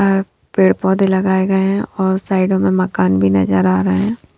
पेड़-पौधे लगाए गए हैं और साइडों में मकान भी नजर आ रहे हैं।